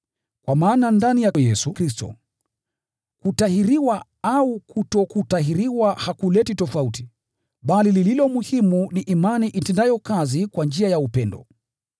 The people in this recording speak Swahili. Kwa maana ndani ya Kristo Yesu, kutahiriwa au kutokutahiriwa hakuleti tofauti, bali lililo muhimu ni imani itendayo kazi kwa njia ya upendo.